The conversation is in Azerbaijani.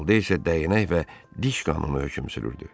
Şimalda isə dəyənək və diş qanunu hökm sürürdü.